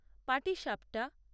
পাটিসাপ্টা